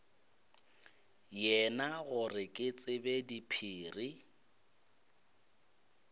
yena gore ke tsebe diphiri